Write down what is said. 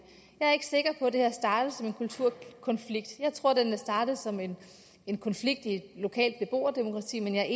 jeg er ikke sikker på at det her er startet som en kulturkonflikt jeg tror at det er startet som en en konflikt i et lokalt beboerdemokrati men jeg